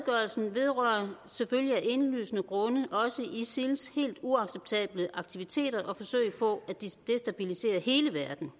vedrører selvfølgelig af indlysende grunde også isils helt uacceptable aktiviteter og forsøg på at destabilisere hele verden